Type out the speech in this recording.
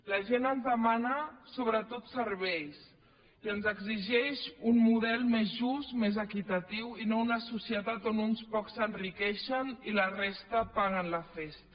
la gent ens demana sobretot serveis i ens exigeix un model més just més equitatiu i no una societat on uns pocs s’enriqueixen i la resta paguen la festa